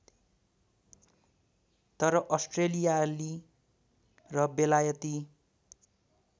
तर अस्ट्रेलियाली र बेलायती